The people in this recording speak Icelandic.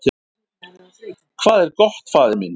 """Hvað er gott, faðir minn?"""